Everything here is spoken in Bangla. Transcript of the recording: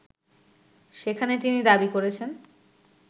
সেখানে তিনি দাবি করেছেন